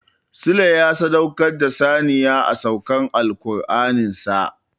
Sule ya sadaukar da saniya a saukar Alkur'anin sa.